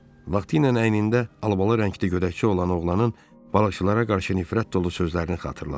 Vaxtiylə əynində albalı rəngdə gödəkçəsi olan oğlanın balıqçılara qarşı nifrət dolu sözlərini xatırladı.